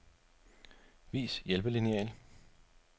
Vis hjælpelineal.